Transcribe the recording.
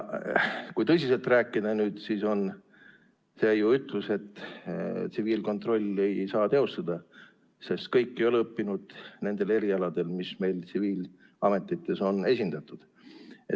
Kui tõsiselt rääkida, siis on ju see ütlus, et tsiviilkontrolli ei saa teostada, sest kõik ei ole õppinud nendel erialadel, mis meil tsiviilametites on esindatud.